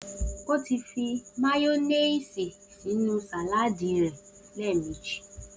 O ti fi máyónìsì sínú sàládìì rẹ̀ lẹ́ẹ̀mejì.